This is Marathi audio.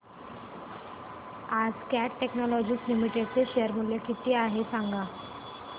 आज कॅट टेक्नोलॉजीज लिमिटेड चे शेअर चे मूल्य किती आहे सांगा